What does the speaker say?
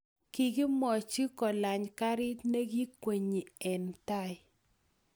kikimwoch kolany karit ne kiikenyi eng tai